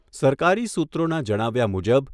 સરકારી સૂત્રોના જણાવ્યા મુજબ